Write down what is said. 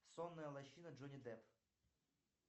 сонная лощина джонни депп